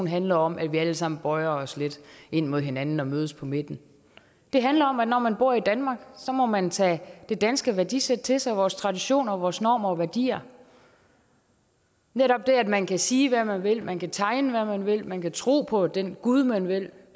handler om at vi alle sammen bøjer os lidt imod hinanden og mødes på midten det handler om at når man bor i danmark må man tage det danske værdisæt til sig vores traditioner vores normer og værdier netop det at man kan sige hvad man vil at man kan tegne hvad man vil at man kan tro på den gud man vil